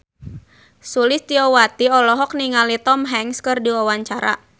Sulistyowati olohok ningali Tom Hanks keur diwawancara